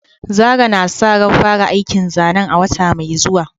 Zarah na sa ran fara aikin zanen a wata mai zuwa.